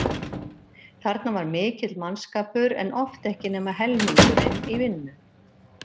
Þarna var mikill mannskapur en oft ekki nema helmingurinn í vinnu.